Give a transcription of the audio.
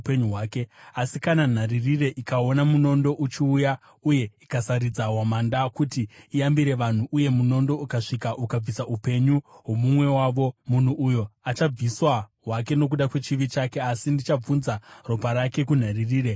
Asi kana nharirire ikaona munondo uchiuya uye ikasaridza hwamanda kuti iyambire vanhu uye munondo ukasvika ukabvisa upenyu hwomumwe wavo, munhu uyo achabviswa hake nokuda kwechivi chake, asi ndichabvunza ropa rake kunharirire.’